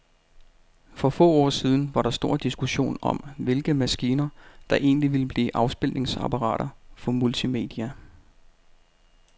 For få år siden var der stor diskussion om, hvilke maskiner, der egentlig ville blive afspilningsapparater for multimedia.